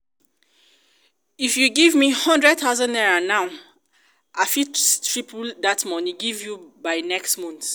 if you give me hundred thousand now i fit triple dat money give you by next month